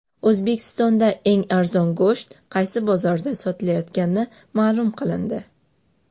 O‘zbekistonda eng arzon go‘sht qaysi bozorlarda sotilayotgani ma’lum qilindi.